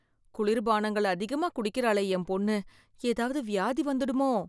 குளிர்பானங்கள் அதிகமா குடிக்கிறாளே என் பொண்ணு ஏதாவது வியாதி வந்துடுமோ?